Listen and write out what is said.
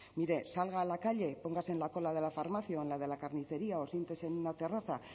mire salga a la calle póngase en la cola de la farmacia o en la de la carnicería o siéntese en una terraza